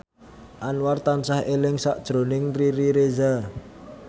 Anwar tansah eling sakjroning Riri Reza